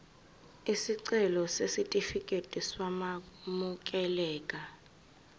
isicelo sesitifikedi sokwamukeleka